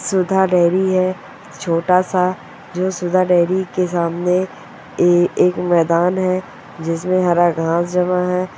सुधा dairy है छोटा सा जो सुधा डेरी के सामने ए-एक मैदान है जिसमे हरा घास जमा है।